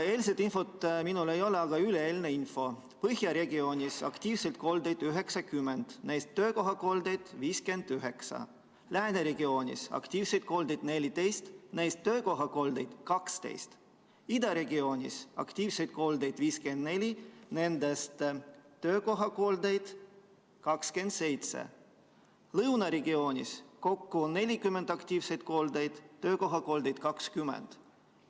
Eilset infot minul ei ole, küll aga on üleeilne info: Põhja regioonis aktiivseid koldeid 90, neist töökohakoldeid 59; Lääne regioonis aktiivseid koldeid 14, neist töökohakoldeid 12; Ida regioonis aktiivseid koldeid 54, nendest töökohakoldeid 27; Lõuna regioonis kokku 40 aktiivset kollet, töökohakoldeid 20.